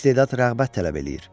İstedad rəğbət tələb eləyir.